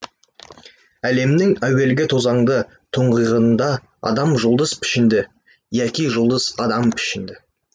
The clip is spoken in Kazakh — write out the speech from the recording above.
әлемнің әуелгі тозаңды тұңғиығында адам жұлдыз пішінді яки жұлдыз адам пішінді